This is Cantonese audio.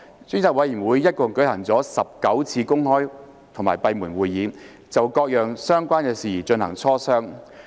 專責委員會一共舉行了19次公開或閉門會議，就各樣相關事宜進行磋商。